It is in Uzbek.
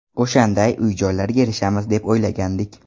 O‘shanday uy-joylarga erishamiz deb o‘ylagandik.